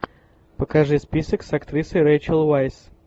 покажи список с актрисой рэйчел вайс